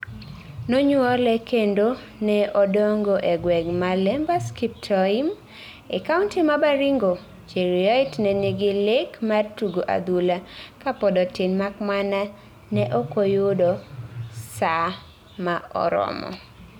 Nonyuole kendone odongo e gweng ma Lembus Kiptoim,e kaunti ma Baringo, Cheruiyot ne nigi lek mar tugoadhula ka pod otin makmana ne okoyudo sir ma oromo